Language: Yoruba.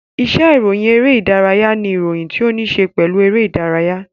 Iṣe iroyin ere-idaraya n iroyin ti o ni ṣe pelu ere-idaraya.